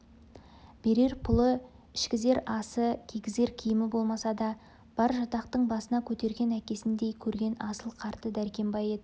берер пұлы ішкізер асы кигізер киімі болмаса да бар жатақтың басына көтерген әкесіндей көрген асыл қарты дәркембай еді